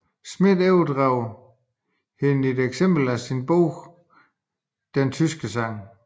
Schmidt overdrager hende et eksemplar af sin bog Den tyske sang